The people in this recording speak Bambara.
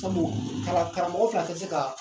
Sabu kalan karamɔgɔ fila tɛ se ka